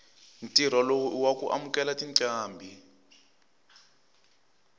ntirho lowu iwaku amukela tincambi